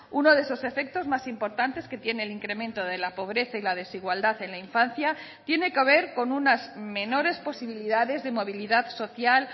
uno de esos efectos más importantes que tiene el incremento de la pobreza y la desigualdad en la infancia tiene que ver con unas menores posibilidades de movilidad social